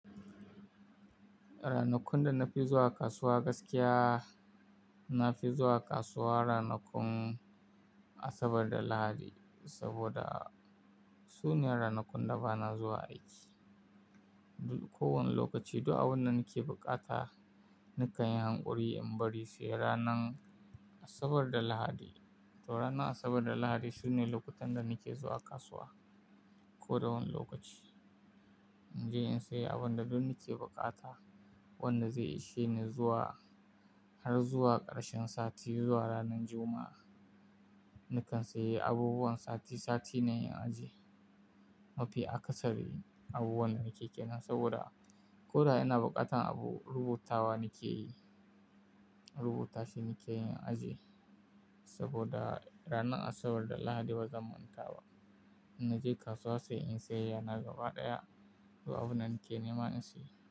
Ranakun da na fi zuwa kasuwa gaskiya, na fi zuwa kasuwa ranakun Asabar da Lahadi saboda su ne ranakun da ba na zuwa aiki. Duk kowane lokaci duk abunda nake bukata nakan yi hankuri in bari sai ranan Asabar da Lahadi. To, ranan Asabar da Lahadi su ne lokutan da nake zuwa kasuwa. Ko da wani lokaci in je in sayi abin da duk nake bukata wanda zai ishe ni zuwa har zuwa ƙarshen sati zuwa ranan Juma'a. Nakan sayi abubuwan sati sati ne in ajiye. Na fi akasari abubuwan da nake kiran saboda ko da ina buƙatan abu rubutawa nake yi, rubuta shi nake yin ajiye saboda ranan Asabar da Lahadi bazan manta ba. Inna je kasuwa sai in sayayyana gaba ɗaya duk abunda nake nema in sayi.